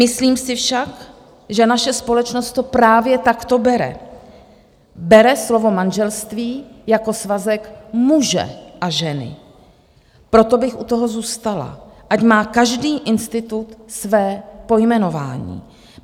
Myslím si však, že naše společnost to právě takto bere, bere slovo manželství jako svazek muže a ženy, proto bych u toho zůstala, ať má každý institut své pojmenování.